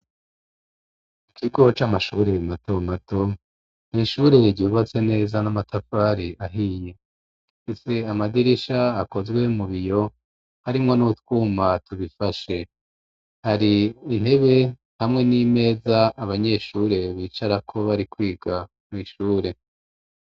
Ikigo c'amashure mato mato ni shure ryubatswe neza n'amatafari ahiye ndetse amadirisha akozwe mu biyo arimwo n'utwuma tubifashe hari intebe hamwe n'imeza abanyeshure bicara ko bari kwiga mu ishure.